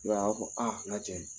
I y'a ye a b'a fɔ aa nka cɛ